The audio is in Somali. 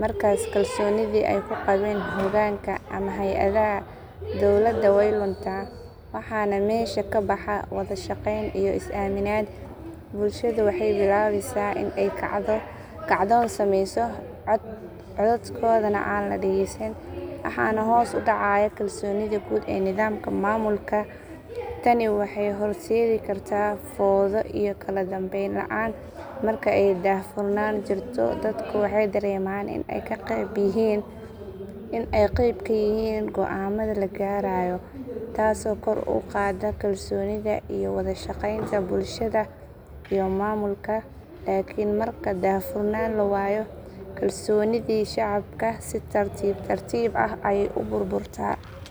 Markaas kalsoonidii ay ku qabeen hoggaanka ama hay’adaha dowladda way luntaa. Waxaana meesha ka baxa wada shaqeyn iyo is aaminaad. Bulshadu waxay bilaabaysaa in ay kacdoon sameyso, codkoodana aan la dhegeysan. Waxaa hoos u dhacaya kalsoonida guud ee nidaamka maamulka. Tani waxay horseedi kartaa fowdo iyo kala dambeyn la’aan. Marka ay daahfurnaan jirto dadku waxay dareemaan in ay qeyb ka yihiin go’aamada la gaarayo, taasoo kor u qaadda kalsoonida iyo wada shaqeynta bulshada iyo maamulka. Laakiin marka daahfurnaan la waayo, kalsoonidii shacabka si tartiib tartiib ah ayay u burburtaa.